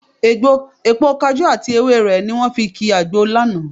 Èpo kajú àti ewé rẹ̀ ni wọ́n fi ki àgbo lánàá